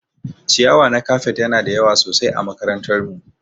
Ciyawa na kafet Yana da yawa sosai ã makarantar mu.